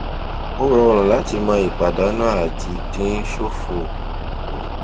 ó rọrùn láti mọ ipàdánù àti dín ṣòfò kù